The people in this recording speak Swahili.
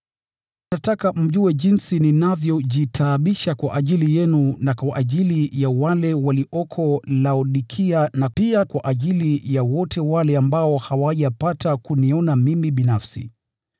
Nataka mjue jinsi ninavyojitaabisha kwa ajili yenu na kwa ajili ya wale walioko Laodikia, na pia kwa ajili ya wote ambao hawajapata kuniona mimi binafsi.